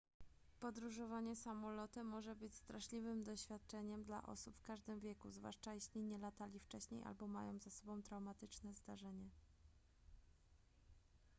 podróżowanie samolotem może być straszliwym doświadczeniem dla osób w każdym wieku zwłaszcza jeśli nie latali wcześniej albo mają za sobą traumatyczne zdarzenie